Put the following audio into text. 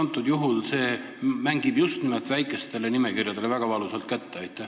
Praegusel juhul see maksab just nimelt väikestele nimekirjadele väga valusalt kätte.